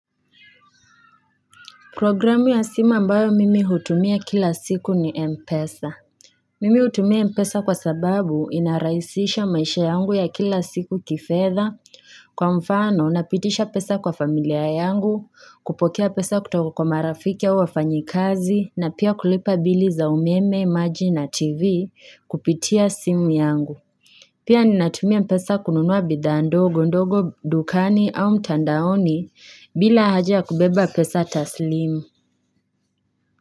Programu ya simu ambayo mimi hutumia kila siku ni Mpesa. Mimi hutumia Mpesa kwa sababu inarahisisha maisha yangu ya kila siku kifedha kwa mfano napitisha pesa kwa familia yangu, kupokea pesa kutoka kwa marafiki au wafanyi kazi na pia kulipa bili za umeme, maji na tv kupitia simu yangu. Pia ni natumia pesa kununua bidhaa ndogo, ndogo, dukani au mtandaoni bila haja ya kubeba pesa taslimu.